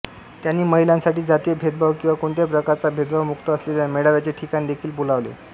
त्यांनी महिलांसाठी जातीय भेदभाव किंवा कोणत्याही प्रकारचा भेदभाव मुक्त असलेल्या मेळाव्याचे ठिकाण देखील बोलावले